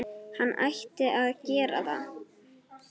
Hann ætti að gera það.